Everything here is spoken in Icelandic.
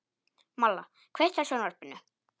Malla, kveiktu á sjónvarpinu.